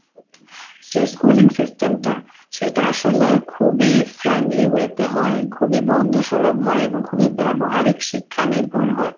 যে schooling system টা সেটা আসলে খুবই friendly way তে হয়, খুবই বন্ধু সুলভ হয়, এবং খুবই ব্যবহারিক শিক্ষা নির্ভর হয়।